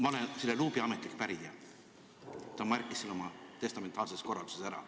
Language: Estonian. Ma olen selle luubi ametlik pärija, ta märkis selle oma testamentaarses korralduses ära.